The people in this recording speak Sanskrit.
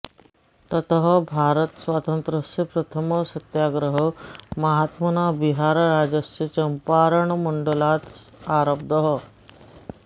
ततः भारतस्वातन्त्र्यस्य प्रथमः सत्याग्रहः महात्मना बिहारराज्यस्य चम्पारणमण्डलात् आरब्धः